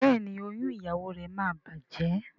Béèni oyún ìyàwó rẹ má bàjé.